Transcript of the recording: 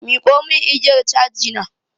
Miƙo mun igiyar caji na!